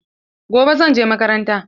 Gobe zan je makaranta.